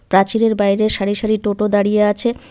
প্রাচীরের বাইরে সারি সারি টোটো দাঁড়িয়ে আছে।